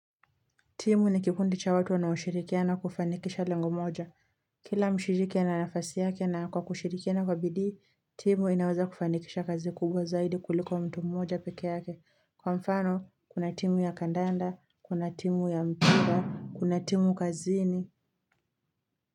Timu ni kikundi cha watu wanaoshirikiana kufanikisha lengo moja. Kila mshiriki ana nafasi yake na kwa kushirikiana kwa bidii, timu inaweza kufanikisha kazi kubwa zaidi kuliko mtu mmoja pekee yake. Kwa mfano, kuna timu ya kandanda, kuna timu ya mpira, kuna timu kazi ni.